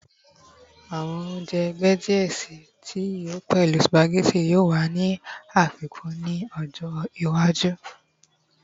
Awọn ounjẹ ẹgbẹ diẹ sii tí yíò lọ pẹlu spaghetti yoo wa ni afikun ni ọjọ iwaju